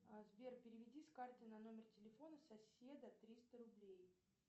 сбер переведи с карты на номер телефона соседа триста рублей